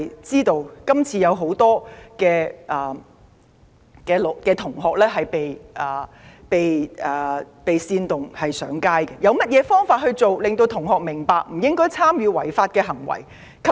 眾所周知，很多同學是被煽動而上街的，有何方法令同學明白不應參與違法行為？